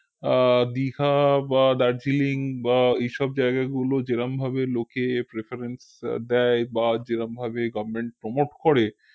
আহ দিঘা বা দারজিলিং বা এইসব জায়গাগুলো যেরমভাবে লোকে preference দেয় বা যেরমভাবে goverment promt করে